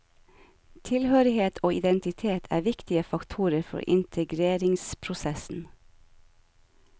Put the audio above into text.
Tilhørighet og identitet er viktige faktorer for integreringsprosessen.